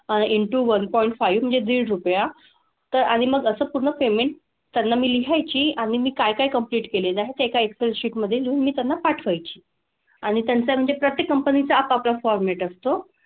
अह into one point five म्हणजे दीड रुपया. तर आणि मग असं पूर्ण payment त्यांना मी लिहायची आणि मी काय काय complete केलेलं आहे ते एका excel sheet मधे लिहून मी त्यांना पाठवायची. आणि त्यांचा म्हणजे प्रत्येक company चं आपापला format असतो.